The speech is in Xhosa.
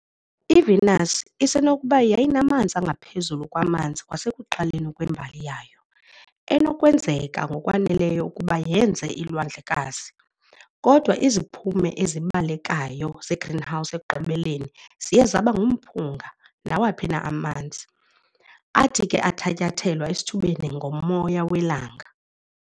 IVenus isenokuba yayinamanzi angaphezulu kwamanzi kwasekuqaleni kwembali yayo, enokwenzeka ngokwaneleyo ukuba yenze iilwandlekazi, kodwa iziphumo ezibalekayo zegreenhouse ekugqibeleni ziye zaba ngumphunga nawaphi na amanzi, athi ke athatyathelwa esithubeni ngomoya welanga.